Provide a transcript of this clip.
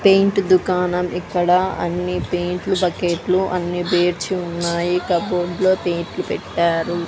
Paint దుకాణం ఇక్కడ అన్నీ పెయింట్లు బకెట్లు అన్నీ బేర్చి ఉన్నాయి కబోర్డ్ లో ప్లేట్లు పెట్టారు.